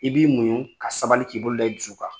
I b'i munɲu ka sabali k'i bolo da i dusu kan